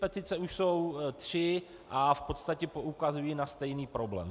Petice už jsou tři a v podstatě poukazují na stejný problém.